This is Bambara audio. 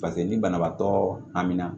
ni banabaatɔ aminna